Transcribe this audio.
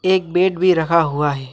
एक बेड भी रखा हुआ है।